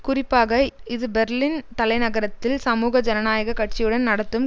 குறிப்பாக இது பெர்லின் தலைநகரத்தில் சமூக ஜனநாயக கட்சியுடன் நடத்தும்